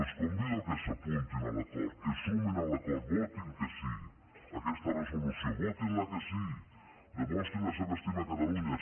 els convido que s’apuntin a l’acord que es sumin a l’acord votin que sí aquesta resolució votin la que sí demostrin la seva estima a catalunya